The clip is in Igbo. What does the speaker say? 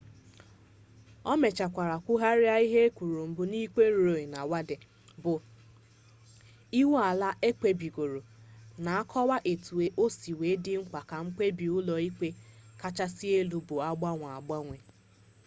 o mechekwara kwugharịa ihe o kwuru mbụ na ikpe roe v wade bụ iwu ala ekpebigoro na-akọwa etu o si dị mkpa ka mkpebi ụlọ ikpe kachasị elu bụrụ agbanwe agbanwe